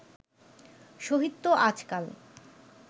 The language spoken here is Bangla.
শহীদ তো আজকাল